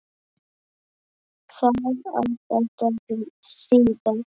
Hvað á þetta að þýða!